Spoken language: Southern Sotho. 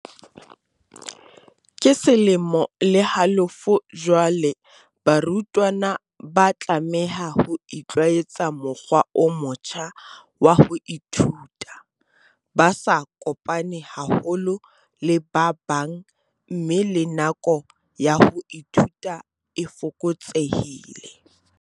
"Ke selemo le halofo jwale barutwana ba tlameha ho itlwaetsa mokgwa o motjha wa ho ithuta, ba sa kopane haholo le ba bang mme le nako ya ho ithuta e fokotsehile."